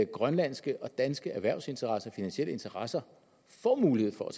grønlandske og danske erhvervsinteresser og finansielle interesser får mulighed for at